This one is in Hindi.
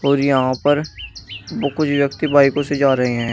और यहां पर कुछ व्यक्ति बाइको को से जा रहे हैं।